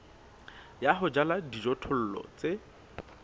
ya ho jala dijothollo tse